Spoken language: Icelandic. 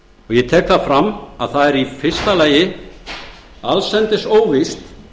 dómsmála ég tek fram að í fyrsta lagi er allsendis óvíst